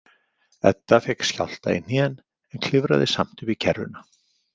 Edda fékk skjálfta í hnén en klifraði samt upp í kerruna.